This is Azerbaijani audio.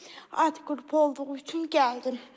Alt qrupu olduğu üçün gəldim.